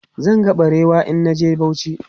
Zan ga barewa in na je Bauchi.